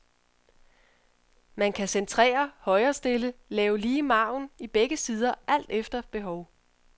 Man kan centrere, højrestille, lave lige margin i begge sider alt efter behov.